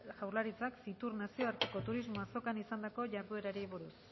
jaurlaritzak fitur nazioarteko turismo azokan izandako jarduerari buruz